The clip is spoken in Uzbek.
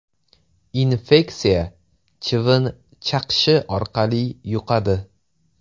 Infeksiya chivin chaqishi orqali yuqadi.